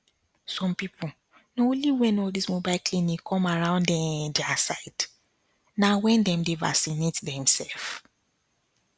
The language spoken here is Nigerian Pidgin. some people na only when all this mobile clinic come around ehnn their side na when dem vacinate dem self